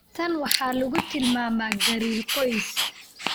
Tan waxaa lagu tilmaamaa gariir qoys.